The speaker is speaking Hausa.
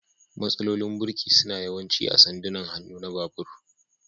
Matsalolin birki suna yawanci a sandunan hannu na babur.